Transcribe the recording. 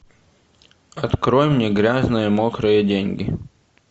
открой мне грязные мокрые деньги